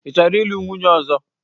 Ị chọrọ ịlụ nwunye ọzọ?